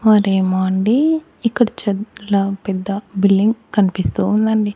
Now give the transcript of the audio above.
మరేమో అండి ఇక్కడ చెద్ల పెద్ద బిల్డింగ్ కనిపిస్తూ ఉందండి.